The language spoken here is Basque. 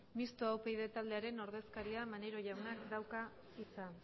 mistoa upyd taldearen ordezkariak maneiro jaunak dauka hitza